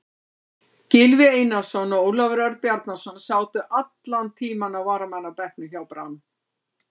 Gylfi Einarsson og Ólafur Örn Bjarnason sátu allan tímann á varamannabekknum hjá Brann.